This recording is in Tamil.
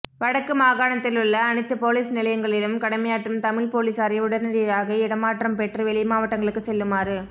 வடக்கு மாகாணத்திலுள்ள அனைத்து பொலிஸ் நிலையங்களிலும் கடமையாற்றும் தமிழ் பொலிசாரை உடனடியாக இடமாற்றம் பெற்று வெளி மாவட்டங்களுக்கு செல்லுமாறு